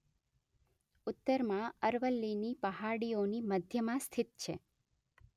ઉત્તરમાં અરવલ્લીની પહાડીઓની મધ્યમાં સ્થિત છે